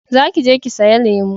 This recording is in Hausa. Za ki je ki saya lemo